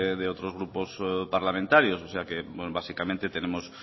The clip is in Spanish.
de otros grupos parlamentarios o sea que básicamente tenemos